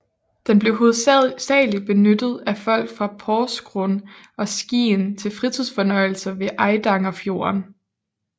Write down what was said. Den blev hovedsageligt benyttet af folk fra Porsgrunn og Skien til fritidsfornøjelser ved Eidangerfjorden